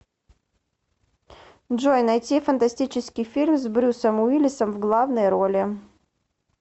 джой найти фантастический фильм с брюссом уиллисом в главной роли